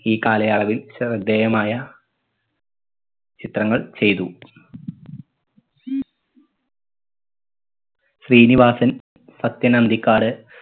ഈ കാലയളവിൽ ശ്രദ്ദേയമായ ചിത്രങ്ങൾ ചെയ്തു ശ്രീനിവാസൻ സാത്യൻ അന്തിക്കാട്